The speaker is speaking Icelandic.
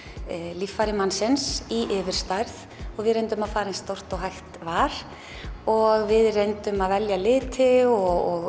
líffæri mannsins í yfirstærð og við reyndum að fara eins stórt og hægt var og við reyndum að velja liti og